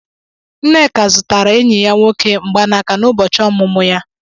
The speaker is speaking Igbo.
Nneka zụtara enyi ya nwoke mgbaaka n'ụbọchị ọmụmụ ya.